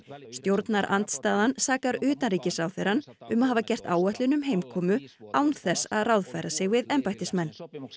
stjórnarandstaðan sakar utanríkisráðherrann um að hafa gert áætlun um heimkomu án þess að ráðfæra sig við embættismenn